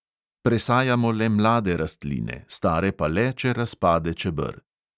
Presajamo le mlade rastline, stare pa le, če razpade čeber.